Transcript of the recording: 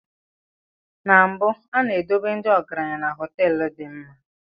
Na mbụ, A na-edobe ndị ọgaranya na họteelu dị mma.